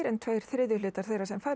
tveir þriðju hlutar þeirra sem fara í